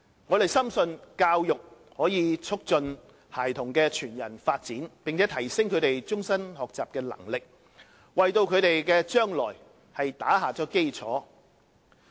我們深信教育可促進孩童的全人發展，並提升他們終身學習的能力，為他們的將來打下基礎。